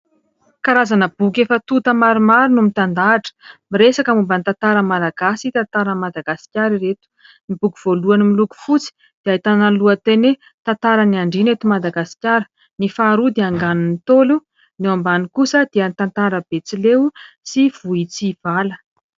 Karazana boky efa tonta maromaro no mitandahatra. Miresaka momba ny tantaran'ny Malagasy, tantaran'i Madagasikara ireto. Ny boky voalohany miloko fotsy dia ahitana ny lohateny hoe : Tantaran'ny Andriana eto Madagasikara, ny faharoa dia Anganon'ny Ntaolo, ny eo ambany kosa dia tantara Betsileo sy Vohitsivala.